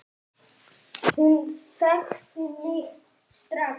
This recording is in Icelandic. Hún þekkti mig strax.